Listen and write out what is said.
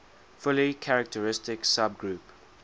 fully characteristic subgroup